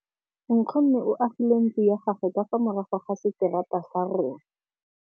Nkgonne o agile ntlo ya gagwe ka fa morago ga seterata sa rona.